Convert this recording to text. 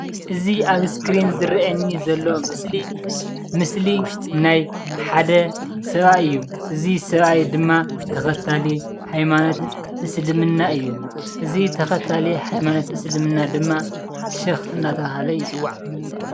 እዚ ኣብ እስክሪን ዝረአየኒ ዘሎ ምስሊ፡ ምስሊ ናይ ሓደ ሰብኣይ እዩ፡፡ እዚ ሰብኣይ ድማ ተኸታሊ ሃይማኖት እስልምና እዩ፡፡ እዚ ተኸታሊ ሃይማኖት እስልምና ድማ ሼኽ እናተባህለ ይፅዋዕ፡፡